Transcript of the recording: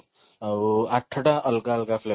ଆଉ ଆଠଟା ଅଲଗା ଅଲଗା flavor